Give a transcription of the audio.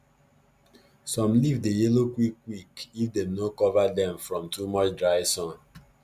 some leaf dey yellow quick quick if dem no cover dem from too much dry sun